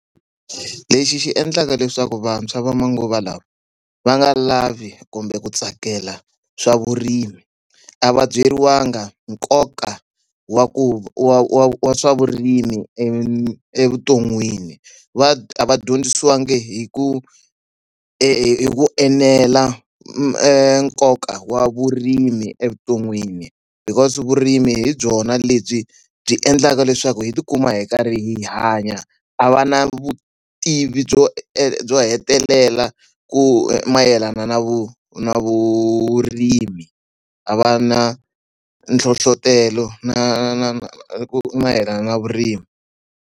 Lexi xi endlaka leswaku vantshwa va manguva lawa va nga lavi kumbe ku tsakela swa vurimi, a va byeriwangi nkoka wa ku wa wa wa swa vurimi evuton'wini. Va va dyondzisiwangi hi ku hi ku enela nkoka wa vurimi evuton'wini. Because vurimi hi byona lebyi byi endlaka leswaku hi tikuma hi karhi hi hanya, a va na vu vutivi byo byo hetelela ku mayelana na na vurimi, a va na nhlohletelo na na na ku mayelana na vurimi.